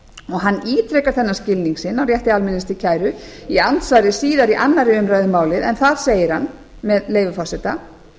hann ítrekar þennan skilning sinn á rétti almennings til kæru í andsvari síðar í annarri umræðu um málið en þar segir hann með leyfi forseta